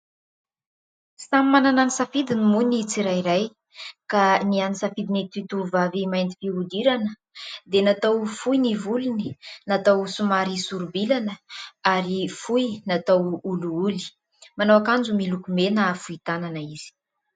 Samy manana ny safidiny moa ny tsirairay ka ny an'ny safidin'ity tovovavy mainty fihodirana dia natao fohy ny volony, natao somary sorom-bilana ary fohy natao holiholy. Manao ankanjo miloko mena fohy tanana izy.